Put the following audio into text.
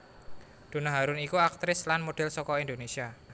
Donna Harun iku aktris lan model saka Indonesia